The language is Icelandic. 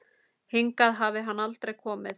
Hingað hafi hann aldrei komið.